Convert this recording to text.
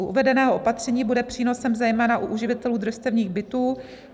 U uvedeného opatření bude přínosem zejména u uživatelů družstevních bytů.